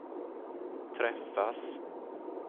träffas